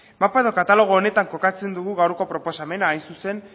mapa edo katalogo honetan kokatzen dugu gaurko proposamena hain zuzen